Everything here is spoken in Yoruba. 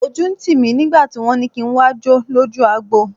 Ojú ń tì mí nígbà tí wọ́n ní kí n wá jó lójú agbo.